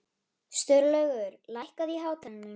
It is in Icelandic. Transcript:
Sturlaugur, lækkaðu í hátalaranum.